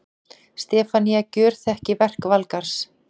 Stefanía gjörþekki verk Valgarðs.